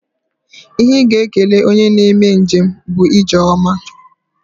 Ihe ị ga-ekele onye na-eme njem bụ ije ọma